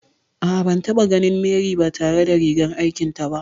A'a, ban taɓa ganin Mary ba tare da rigar aikin ta ba